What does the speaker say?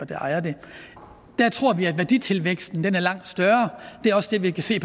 der ejer dem der tror vi at værditilvæksten er langt større det er også det vi kan se